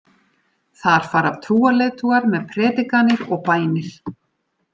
Þar fara trúarleiðtogar með predikanir og bænir.